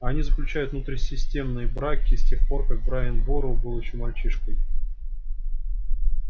а они заключают внутрисемейные браки с тех пор как брайан бору был ещё мальчишкой